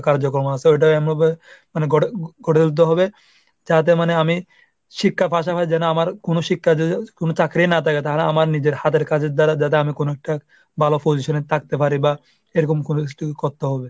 কার্যক্রম আছে ওটা এমনভাবে মানে গড়ে গড়ে তুলতে হবে যাতে মানে আমি শিক্ষা ফাঁসাবার জন্য আমার কোনো শিক্ষা কোনো চাকরি না থাকে তাহলে আমার নিজের হাতের কাজের দ্বারা যাতে আমি কোনো একটা ভালো position এ থাকতে পারি বা এরকম কোনো school করতে হবে।